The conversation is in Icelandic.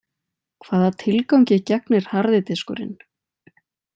Hvaða tilgangi gegnir harði diskurinn?